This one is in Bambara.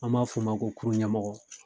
An b'a f'o ma ko kurun ɲɛmɔgɔ